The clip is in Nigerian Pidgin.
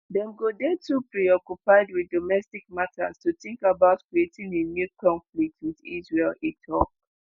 "dem go dey too preoccupied with domestic matters to think about creating a new conflict with israel" e tok.